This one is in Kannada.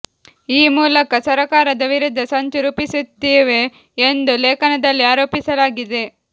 ಈ ಮೂಲಕ ಸರಕಾರದ ವಿರುದ್ಧ ಸಂಚು ರೂಪಿಸುತ್ತಿವೆ ಎಂದು ಲೇಖನದಲ್ಲಿ ಆರೋಪಿಸಲಾಗಿದೆ